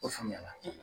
O faamuya la